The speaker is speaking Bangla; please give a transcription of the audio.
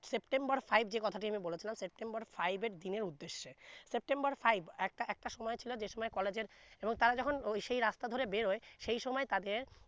September five যে কথা টি আমি বলেছিলাম September five এর দিনের উদ্দেশে September five একটা একটা সময় ছিলো যে সময় college এর এবং তারা যখন সে রাস্তা ধরে বেরোয় সেই সময় তাদের